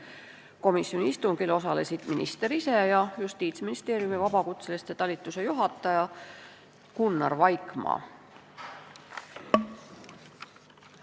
Komisjoni istungil osalesid minister ise ja Justiitsministeeriumi vabakutsete talituse juhataja Gunnar Vaikmaa.